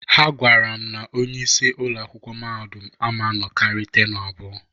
Ha gwara m na onye isi ụlọakwụkwụ mahadum ama nnọkarị tenu abụọ.